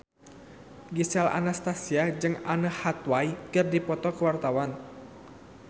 Gisel Anastasia jeung Anne Hathaway keur dipoto ku wartawan